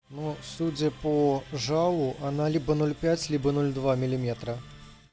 ну судя по жалу она либо ноль пять либо ноль два миллиметра